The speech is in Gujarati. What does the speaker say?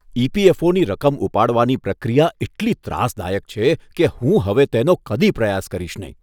ઇ.પી.એફ.ઓ.ની રકમ ઉપાડવાની પ્રક્રિયા એટલી ત્રાસદાયક છે કે હું હવે તેનો કદી પ્રયાસ કરીશ નહીં.